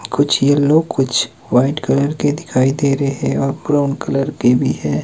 कुछ येलो कुछ white colour के दिखाई दे रहे है और ब्राउन कलर के भी हैं।